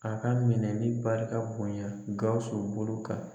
A ka minɛni barika bonya Gawusu bolo kan